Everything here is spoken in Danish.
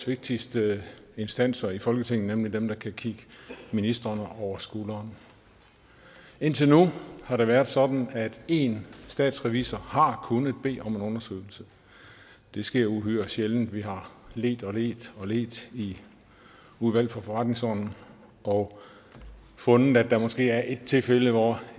vigtigste instanser i folketinget nemlig den der kan kigge ministrene over skulderen indtil nu har det været sådan at én statsrevisor har kunnet bede om en undersøgelse det sker uhyre sjældent vi har ledt og ledt og ledt i udvalget for forretningsordenen og fundet at der måske er ét tilfælde hvor